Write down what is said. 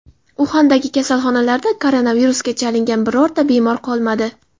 Uxandagi kasalxonalarda koronavirusga chalingan birorta bemor qolmadi.